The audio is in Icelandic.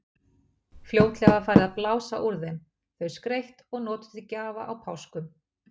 Fljótlega var farið að blása úr þeim, þau skreytt og notuð til gjafa á páskum.